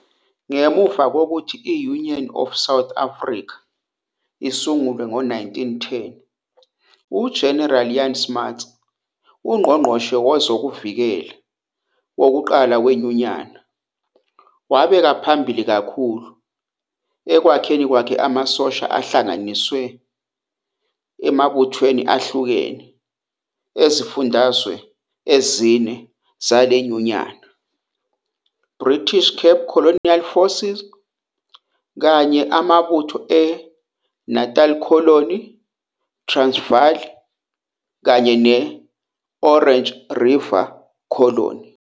Ngemuva kokuthi i- Union of South Africa isungulwe ngo-1910, uGeneral Jan Smuts, uNgqongqoshe Wezokuvikela wokuqala weNyunyana, wabeka phambili kakhulu ekwakheni amasosha ahlanganisiwe emabuthweni ahlukene ezifundazwe ezine zale nyunyana, iBritish Cape Colonial Forces, kanye amabutho eNatal Colony, iTransvaal, kanye ne- Orange River Colony.